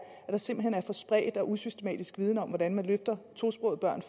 at der simpelt hen er for spredt og usystematisk viden om hvordan man giver tosprogede børn